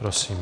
Prosím.